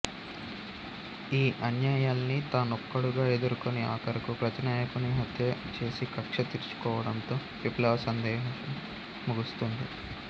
ఈ అన్యాయాల్ని తానొక్కడుగా ఎదుర్కొని ఆఖరుకు ప్రతినాయకుని హత్య చేసికక్ష తీర్చుకోవడంతో విప్లవ సందేశం ముగుస్తుంది